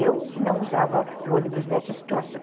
Eu não usava ônibus nessa situação.